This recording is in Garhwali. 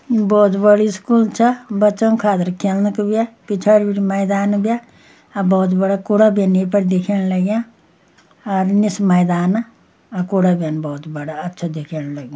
यु बहोत बड़ी स्कूल छ बच्चों खातिर खेलना का भ्या पिछाड़ी बिटि मैदान भ्या और बहोत बड़ा कुड़ा भीन ये पर दिखेण लग्यां अर निस मैदान अर कुड़ा भ्यन बहोत बड़ा अच्छा दिखेण लगीं।